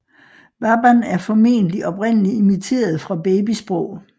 Baban er formentlig oprindeligt imiteret fra babysprog